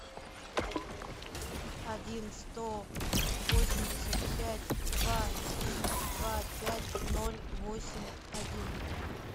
один сто восемьдесят пять два три два пять ноль восемь один